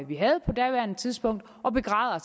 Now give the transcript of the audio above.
vi havde på daværende tidspunkt og begræder